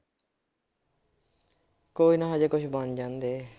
ਕੋਈ ਨਾ ਹਜੇ ਕੁਛ ਬਣ ਜਾਣਦੇ